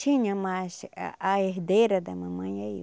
Tinha, mas a a herdeira da mamãe é eu.